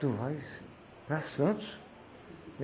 Tu vai para Santos?